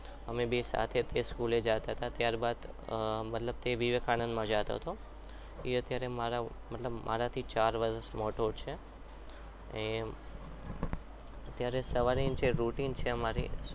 અમે બે સાથે જ school જાતા હતા ત્યારબાદ મતલબ તે વિવેકાનંદમાં જતો હતો એ અત્યારે મારા મતલબ મારાથી ચાર વર્ષ મોટો છે અત્યારે સવારે જે routine છે અમારી